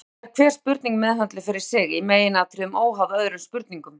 Í vinnslunni er hver spurning meðhöndluð fyrir sig, í meginatriðum óháð öðrum spurningum.